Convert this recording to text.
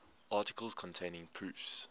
articles containing proofs